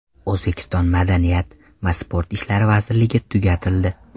O‘zbekiston Madaniyat va sport ishlari vazirligi tugatildi.